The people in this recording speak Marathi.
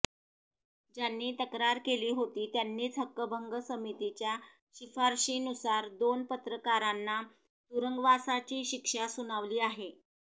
ज्यांनी तक्रार केली होती त्यांनीच हक्कभंग समितीच्या शिफारशीनुसार दोन पत्रकारांना तुरुंगवासाची शिक्षा सुनावली आहे